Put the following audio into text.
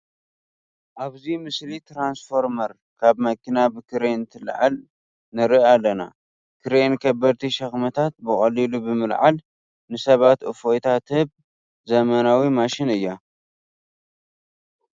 ኣብዚ ምስሊ ትራንስፎርመር ካብ መኪና ብክሬን እንትትለዓል ንርኢ ኣለና፡፡ ክሬን ከበድቲ ሸኽምታት ብቐሊሉ ብምልዓል ንሰባት እፎይታ ትህብ ዘመናዊ ማሽን እያ፡፡